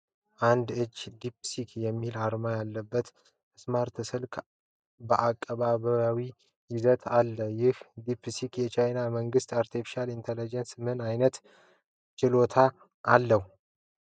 አንድ እጅ "deepseek" የሚል አርማ ያለበትን ስማርት ስልክ በአቀባዊ ይዞ አለ። ይህ "Deepseek" የቻይና መንግሥት አርቴፊሻል ኢንተለጀንስ ምን አይነት ችሎታ አለው?